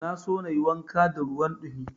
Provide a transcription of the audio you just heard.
Na so na yi wanka da ruwan ɗumi.